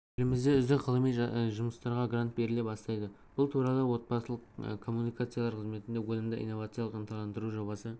елімізде үздік ғылыми жұмыстарға грант беріле бастайды бұл туралы орталық коммуникациялар қызметінде өнімді инновацияларды ынталандыру жобасы